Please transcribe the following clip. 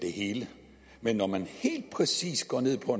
det hele men når man helt præcist går ned på